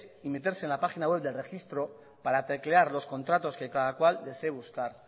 y meterse en la página web del registro para teclear los contratos que cada cual desee buscar